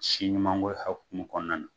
Si ɲumanko hakumu kɔnɔna na